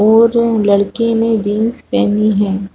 और लड़के ने जीन्स पहनी है।